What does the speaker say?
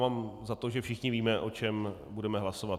Mám za to, že všichni víme, o čem budeme hlasovat.